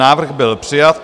Návrh byl přijat.